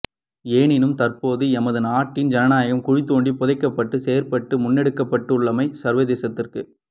எனினும் தற்போது எமது நாட்டின் ஜனநாயகம் குழி தோண்டி புதைக்கப்படும் செயற்பாடு முன்னெடுக்கப்பட்டுள்ளமை சர்வதேசத்திற்கு